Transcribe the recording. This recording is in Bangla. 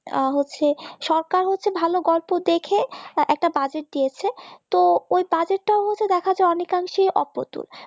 হচ্ছে সরকার হচ্ছে ভালো গল্প দেখে একটা budget দিয়েছে তো ওই budget র মত দেখাতে অনেক অংশে অপটু